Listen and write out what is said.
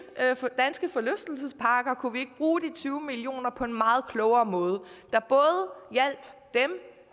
danske forlystelsesparker kunne vi så ikke bruge de tyve millioner på en meget klogere måde der både hjalp dem